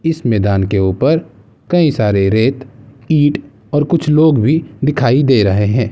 इस मैदान के ऊपर कई सारे रेत ईंट और कुछ लोग भी दिखाई दे रहे है।